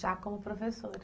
Já como professora?